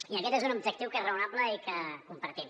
i aquest és un objectiu que és raonable i que compartim